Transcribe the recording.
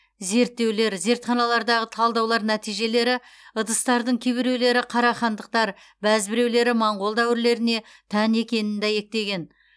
зерттеулер зертханалардағы талдаулар нәтижелері ыдыстардың кейбіреулері қарахандықтар бәзбіреулері моңғол дәуірлеріне тән екенін дәйектеген